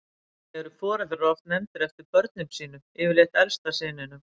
Einnig eru foreldrar oft nefndir eftir börnum sínum, yfirleitt elsta syninum.